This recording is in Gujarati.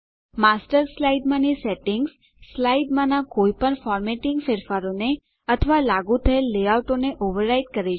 માસ્ટર સ્લાઇડમાંની સેટિંગ્સ સ્લાઇડમાંનાં કોઈપણ ફોર્મેટીંગ ફેરફારોને અથવા લાગુ થયેલ લેઆઉટોને ઓવરરાઈડ કરે છે